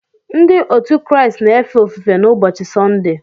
Ndị otu Kraịst na-efe ofufe n’ụbọchị Sọnde